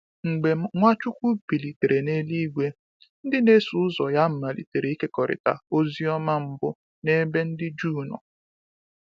Mgbe Nwachukwu bilitere n’eluigwe, ndị na-eso ụzọ ya malitere ịkekọrịta ozi ọma mbụ n’ebe ndị Juu nọ.